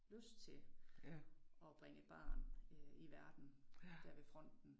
Lyst til at bringe et barn øh i verden dér ved fronten